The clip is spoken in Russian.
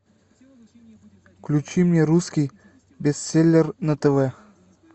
включи мне русский бестселлер на тв